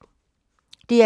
DR2